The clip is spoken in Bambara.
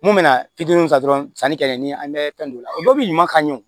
Mun bɛna fitininw ta dɔrɔn sanni kɛ ni an bɛ fɛn don o la o bɛɛ bi ɲuman kan ye